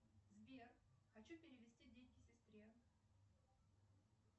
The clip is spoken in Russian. сбер хочу перевести деньги сестре